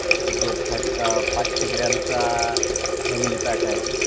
जो पाचशे ग्रॅमचा फॅमिली पॅक आहे